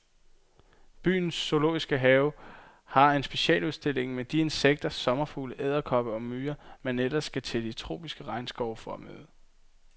Byens zoologiske have har en specialudstilling med de insekter, sommerfugle, edderkopper og myrer, man ellers skal til de tropiske regnskove for at møde.